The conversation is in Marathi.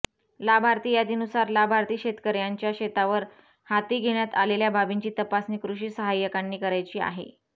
लाभार्थी यादीनुसार लाभार्थी शेतकऱयांच्या शेतावर हाती घेण्यात आलेल्या बाबींची तपासणी कृषी सहाय्यकांनी करायची आहे